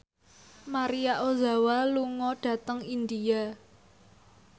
Maria Ozawa lunga dhateng India